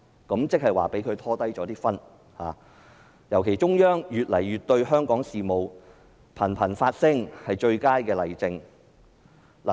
換言之，香港被內地拉低了分數，尤其是中央政府近日對香港事務頻頻發聲，便是最佳例證。